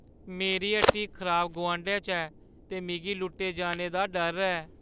मेरी हट्टी इक खराब गोआंढै च ऐ ते मिगी लुट्टे जाने दा डर ऐ।